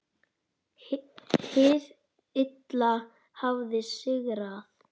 Hið illa hafði sigrað.